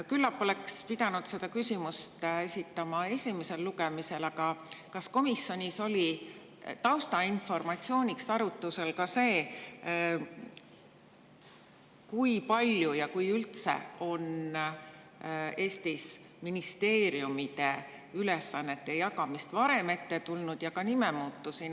Küllap oleks pidanud selle küsimuse esitama esimesel lugemisel, aga kas komisjonis oli taustainformatsiooniks arutlusel see, kui palju või kas üldse on Eestis ministeeriumide ülesannete jagamist varem ette tulnud ja ka nimede muutmist?